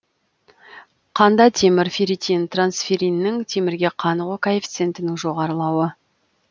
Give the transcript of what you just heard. қанда темір ферритин трансферриннің темірге қанығу коэффициентінің жоғарылауы